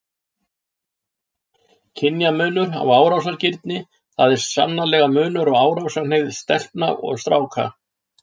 Kynjamunur á árásargirni Það er sannarlega munur á árásarhneigð stelpna og stráka.